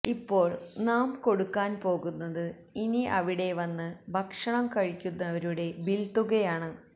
ഇപ്പോൾ നാം കൊടുക്കാൻ പോകുന്നത് ഇനി അവിടെ വന്ന് ഭക്ഷണം കഴിക്കുന്നവരുടെ ബിൽ തുകയാണ്